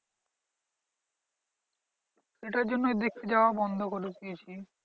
এটার জন্যই দেখতে যাওয়া বন্ধ করে দিয়েছি।